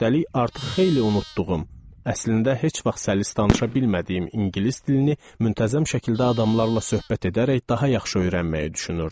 Üstəlik artıq xeyli unutduğum, əslində heç vaxt səlis danışa bilmədiyim ingilis dilini müntəzəm şəkildə adamlarla söhbət edərək daha yaxşı öyrənməyi düşünürdüm.